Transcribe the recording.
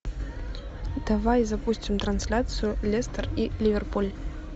давай запустим трансляцию лестер и ливерпуль